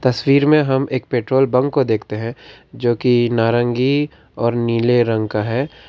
तस्वीर में हम एक पेट्रोल पंप को देखते हैं जो की नारंगी और नीले रंग का है।